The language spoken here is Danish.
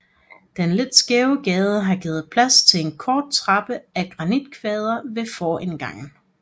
Den lidt skæve gade har givet plads til en kort trappe af granitkvader ved forindgangen